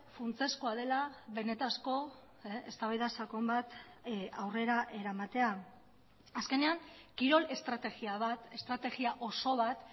funtsezkoa dela benetako eztabaida sakon bat aurrera eramatea azkenean kirol estrategia bat estrategia oso bat